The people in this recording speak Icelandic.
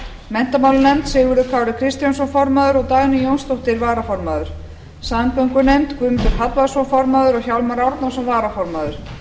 menntamálanefnd sigurður kári kristjánsson formaður og dagný jónsdóttir varaformaður samgöngunefnd guðmundur hallvarðsson formaður og hjálmar árnason varaformaður